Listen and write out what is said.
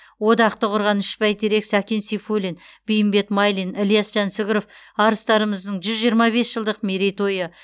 одақты құрған үш бәйтерек сәкен сейфуллин бейімбет майлин ілияс жансүгіров арыстарымыздың жүз жиырма бес жылдық мерейтойы